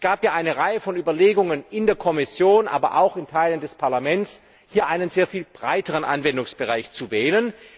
Es gab ja eine Reihe von Überlegungen in der Kommission, aber auch in Teilen des Parlaments, hier einen sehr viel breiteren Anwendungsbereich zu wählen.